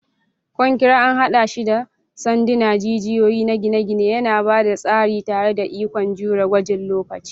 Konkire an haɗa shi da sanduna, jijiyoyi na gine-gine, yana ba da tsari tare da ikon jure gwajin lokaci.